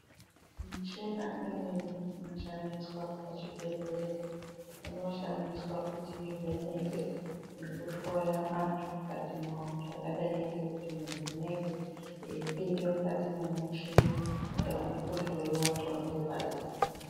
Michina imweni inoshandiswa pachibhedhleya inoshandiswa kuti iveneke nekuhloya antu mukati mwavo. Zvakadai ngekuti muntu unenge eipinda mukati memichini kuti aone kuhlowa nxdondo dzake.